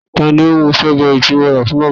ta ni ó mú strawberry tí mo rà fún màmá